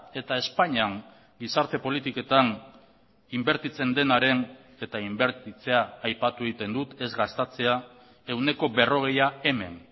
eta espainian gizarte politiketan inbertitzen denaren eta inbertitzea aipatu egiten dut ez gastatzea ehuneko berrogeia hemen